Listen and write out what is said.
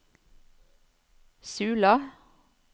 Sula